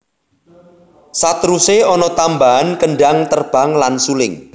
Saterusé ana tambahan kendhang terbang lan suling